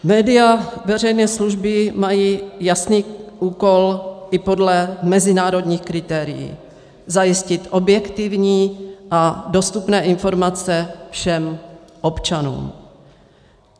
Média veřejné služby mají jasný úkol i podle mezinárodních kritérií - zajistit objektivní a dostupné informace všem občanům.